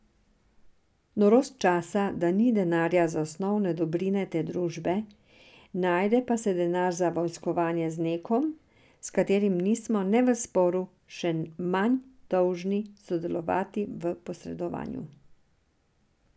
Norost časa, da ni denarja za osnovne dobrine te družbe, najde pa se denar za vojskovanje z nekom, s katerim nismo ne v sporu, še manj dolžni sodelovati v posredovanju.